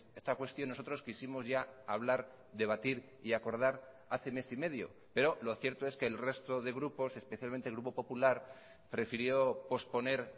esta cuestión nosotros quisimos ya hablar debatir y acordar hace mes y medio pero lo cierto es que el resto de grupos especialmente el grupo popular prefirió posponer